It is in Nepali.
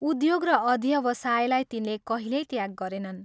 उद्योग र अध्यवसायलाई तिनले कहिल्यै त्याग गरेनन्।